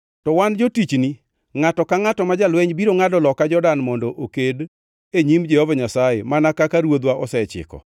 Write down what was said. To wan jotichni, ngʼato ka ngʼata ma jalweny biro ngʼado loka Jordan mondo oked e nyim Jehova Nyasaye mana kaka ruodhwa osechiko.”